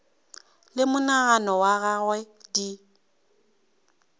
le monagano wa gagwe di